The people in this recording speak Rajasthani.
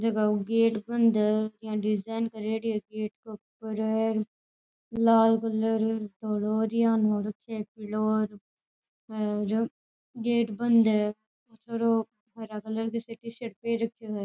जका को गेट बंद है डिजाइन करियोडी है गेट के ऊपर लाल कलर धोलो र यान हो रखयो है पीलो र हे गेट बंद है छोरो हरा कलर की टीशर्ट पहर रख्यो है।